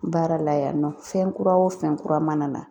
Baara la yan nɔ, fɛn kura wo fɛn kura mana na.